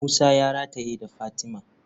Musa ya rataye da fatima.